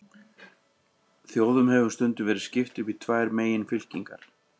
Þjóðum hefur stundum verið skipt upp í tvær meginfylkingar.